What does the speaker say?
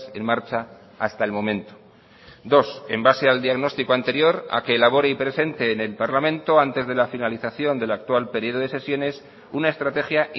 en marcha hasta el momento dos en base al diagnóstico anterior a que elabore y presente en el parlamento antes de la finalización del actual periodo de sesiones una estrategia